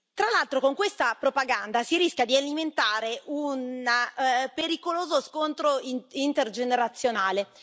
Tra l'altro con questa propaganda si rischia di alimentare un pericoloso scontro intergenerazionale.